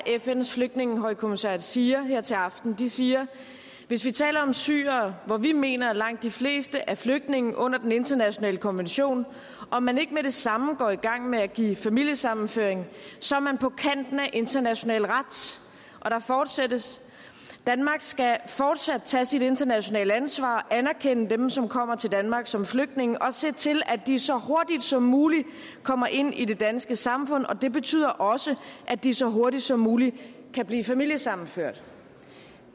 fns flygtningehøjkommissariat siger her til aften de siger hvis vi taler om syrere hvor vi mener at langt de fleste er flygtninge under den internationale konvention og man ikke med det samme går i gang med at give familiesammenføring så er man på kanten af international ret der fortsættes danmark skal fortsat tage sit internationale ansvar og anerkende dem som kommer til danmark som flygtninge og se til at de så hurtigt som muligt kommer ind i det danske samfund og det betyder også at de så hurtigt som muligt kan blive familiesammenført